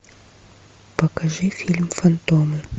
покажи фильм фантом